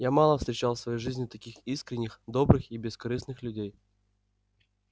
я мало встречал в своей жизни таких искренних добрых и бескорыстных людей